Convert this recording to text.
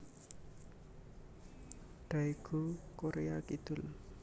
Daegu Korea Kidul